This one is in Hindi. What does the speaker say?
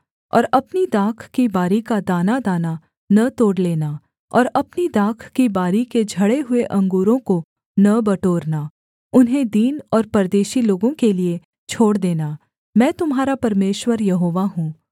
और अपनी दाख की बारी का दानादाना न तोड़ लेना और अपनी दाख की बारी के झड़े हुए अंगूरों को न बटोरना उन्हें दीन और परदेशी लोगों के लिये छोड़ देना मैं तुम्हारा परमेश्वर यहोवा हूँ